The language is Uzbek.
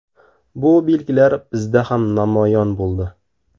Bu belgilar bizda ham namoyon bo‘ldi.